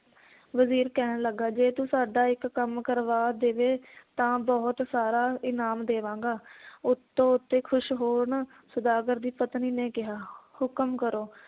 ਵਜੀਰ ਕਹਿਣ ਲੱਗਾ ਜੇ ਤੂੰ ਸਾਡਾ ਇੱਕ ਕੰਮ ਕਰਵਾ ਦੇਵੇਂ ਤਾਂ ਬਹੁਤ ਸਾਰਾ ਇਨਾਮ ਦੇਵਾਂਗਾ ਉੱਤੋਂ ਉੱਤੇ ਖੁਸ਼ ਹੋਣ ਸੌਦਾਗਰ ਦੀ ਪਤਨੀ ਨੇ ਕਿਹਾ ਹੁਕਮ ਕਰੋ